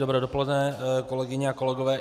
Dobré dopoledne, kolegyně a kolegové.